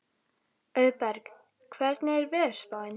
Auðberg, hvernig er veðurspáin?